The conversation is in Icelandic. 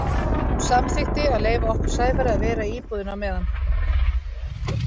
Hún samþykkti að leyfa okkur Sævari að vera í íbúðinni á meðan.